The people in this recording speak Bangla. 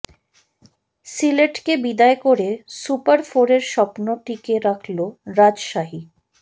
সিলেটকে বিদায় করে সুপার ফোরের স্বপ্ন টিকে রাখল রাজশাহী